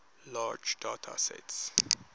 large data sets